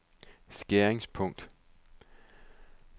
skæringspunkt